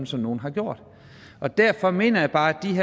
som nogle har gjort derfor mener jeg bare